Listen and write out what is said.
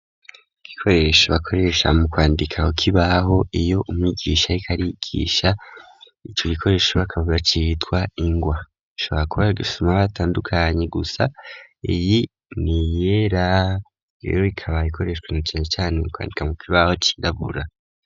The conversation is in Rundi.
Igikoresho bakoresha mu kwandika ku kibaho, iyo umwigisha ariko arigisha, ico gikoresho bakaba bacitwa ingwa, ashabora kuba ari igisomwa batandukanye, gusa iyi n'iyera, rero ikaba ikoreshwa na cane cane mu kwandika ku kibaho cirabura.